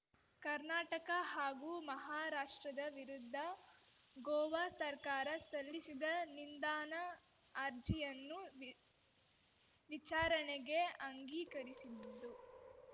ಕರ್ನಾಟಕ ಹಾಗೂ ಮಹಾರಾಷ್ಟ್ರದ ವಿರುದ್ಧ ಗೋವಾ ಸರ್ಕಾರ ಸಲ್ಲಿಸಿದ್ದ ನಿಂದಾನಾ ಅರ್ಜಿಯನ್ನು ವಿ ವಿಚಾರಣೆಗೆ ಅಂಗೀಕರಿಸಿದ್ದು